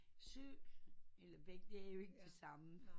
Sø eller begge det er jo ikke det samme